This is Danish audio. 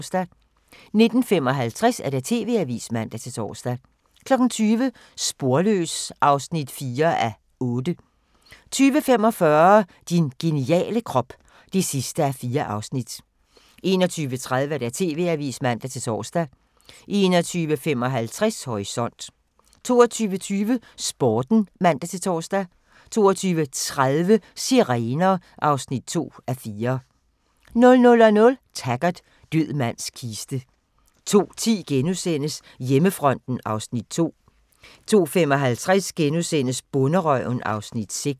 19:55: TV-avisen (man-tor) 20:00: Sporløs (4:8) 20:45: Din geniale krop (4:4) 21:30: TV-avisen (man-tor) 21:55: Horisont 22:20: Sporten (man-tor) 22:30: Sirener (2:4) 00:00: Taggart: Død mands kiste 02:10: Hjemmefronten (Afs. 2)* 02:55: Bonderøven (Afs. 6)*